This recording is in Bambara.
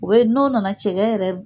U bɛ n'o nana cɛgɛ yɛrɛ